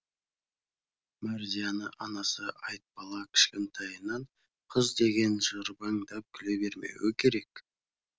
мәрзияны анасы айтбала кішкентайынан қыз деген жырбаңдап күле бермеуі керек